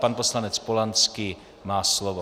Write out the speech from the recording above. Pan poslanec Polanský má slovo.